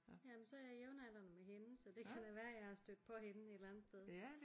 Jamen så er jeg jævnaldrende med hende så det kan da være jeg har stødt på hende et eller andet sted